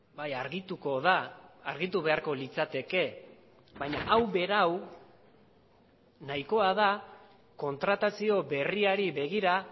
bai argituko da argitu beharko litzateke baina hau berau nahikoa da kontratazio berriari begira